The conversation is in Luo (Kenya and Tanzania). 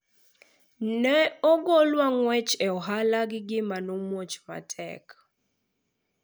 ne ogolwa ng'wech e ohala gi gimane omuoch matek